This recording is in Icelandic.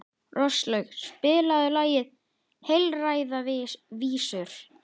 Róslaug, spilaðu lagið „Heilræðavísur“.